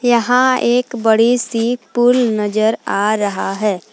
यहां एक बड़ी सी पूल नजर आ रहा है।